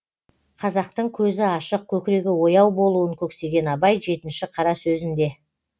қазақтың көзі ашық көкірегі ояу болуын көксеген абай жетінші қара сөзінде